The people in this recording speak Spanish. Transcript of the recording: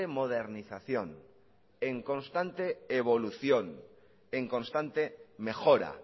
modernización en constante evolución en constante mejora